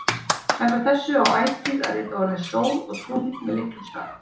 Samkvæmt þessu á ætíð að rita orðin sól og tungl með litlum staf.